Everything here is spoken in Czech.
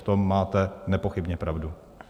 V tom máte nepochybně pravdu.